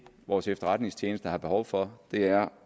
vores efterretningstjeneste har behov for er